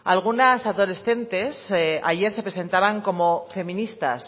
algunas adolescentes ayer se presentaban como feministas